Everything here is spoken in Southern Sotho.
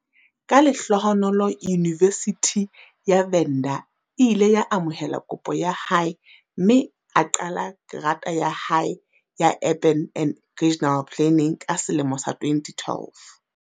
Ka lehlohonolo Yunivesithi ya Venda e ile ya amohela kopo ya hae mme a qala grata ya hae ya Urban and Regional Planning ka selemo sa 2012.